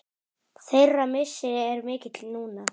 Þeirra missir er mikill núna.